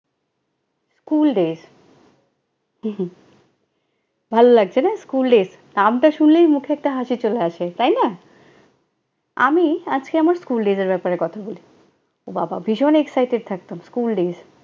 school days ভাল লাগছে না school days নামটা শুনলেই মুখে একটা হাসি চলে আসে। তাই না? আমি আজকে আমার school days ব্যাপারে কথা বলি। ও বাবা, ভীষণ excited থাকতাম, school days